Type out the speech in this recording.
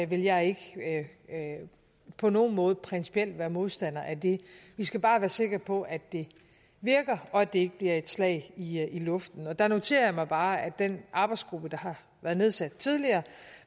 vil jeg ikke på nogen måde principielt være modstander af det vi skal bare være sikre på at det virker og at det ikke bliver et slag i luften der noterer jeg mig bare at den arbejdsgruppe der har været nedsat tidligere